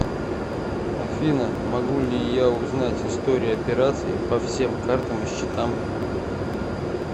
афина могу ли я узнать историю операций по всем картам и счетам